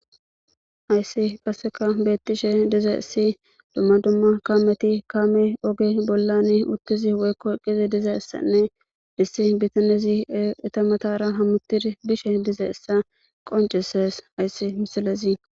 Hayssi qasseka beettishe dizayssi dumma dumma kaameti kaame oge bollani uttizi woykko eqqizi dizayssanne issi bitanezi eta matara hammutiri bishe dizayssa qoncisees hayssi misilezi.